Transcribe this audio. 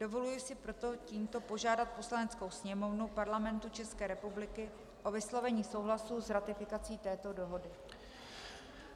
Dovoluji si proto tímto požádat Poslaneckou sněmovnu Parlamentu České republiky o vyslovení souhlasu s ratifikací této dohody.